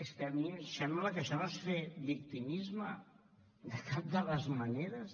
és que a mi em sembla que això no és fer victimisme de cap de les maneres